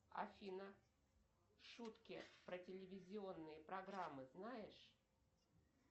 афина шутки про телевизионные программы знаешь